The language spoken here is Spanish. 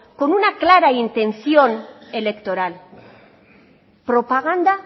con una clara intención electoral propaganda